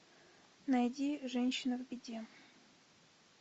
найди женщина в беде